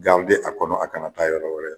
a kɔnɔ a kana taa yɔrɔ wɛrɛ